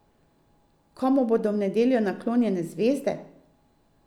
Komu bodo v nedeljo naklonjene zvezde?